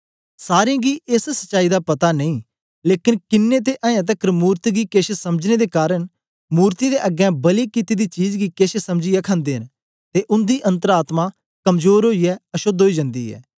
सारें गी एस सच्चाई दा पता नेई लेकन किन्नें ते अयें तकर मूरत गी केछ समझने दे कारन मूर्तियें दे अगें बलि कित्ती दी चीज गी केछ समझीयै खंदे न ते उन्दी अन्तर आत्मा कमजोर ओईयै अशोद्ध ओई जन्दी ऐ